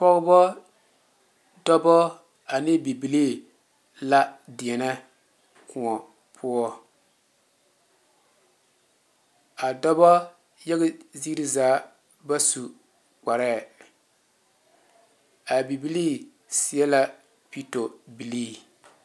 Pɔgebo dɔɔbo ane bibilee la deɛne kõɔ poɔ a dɔɔbo yaga ziiri zaa ba su kpare a bibilee seɛ la pito bilee.